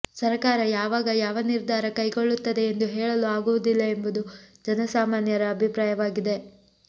ಸರಕಾರ ಯಾವಾಗ ಯಾವ ನಿರ್ಧಾರ ಕೈಗೊಳ್ಳುತ್ತದೆ ಎಂದು ಹೇಳಲು ಆಗುವುದಿಲ್ಲ ಎಂಬುದು ಜನಸಾಮಾನ್ಯರ ಅಭಿಪ್ರಾಯವಾಗಿದೆ